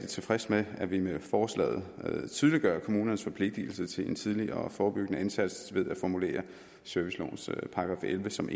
tilfreds med at vi med forslaget tydeliggør kommunernes forpligtelse til en tidligere forebyggende indsats ved at formulere servicelovens § elleve som